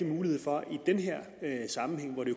mulighed for i den her sammenhæng hvor det